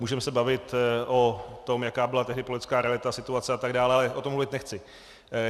Můžeme se bavit o tom, jaká byla tehdy politická realita, situace atd., ale o tom mluvit nechci.